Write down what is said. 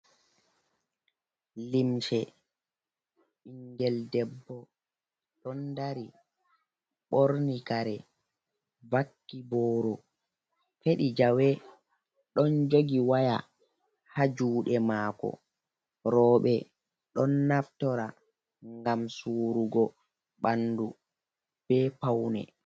Limse ɓinngel debbo ɗon dari, ɓorni kare, vakki booro, feɗi jawe, ɗon jogi waya haa juuɗe maako. Rowɓe ɗon naftora ngam suurugo ɓanndu be pawne.